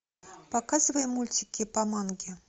показывай мультики по манге